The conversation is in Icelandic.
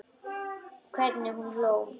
Hvernig hún hló.